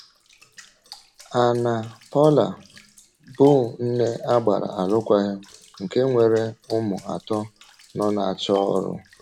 Ànna-Paula, bụ́ nne agbàrà alụkwàghịm nke nwere ụmụ atọ, nọ na-achọ ọrụ.